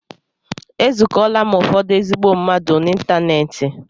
E zukola m ụfọdụ ezigbo mmadụ n'ịntanetị.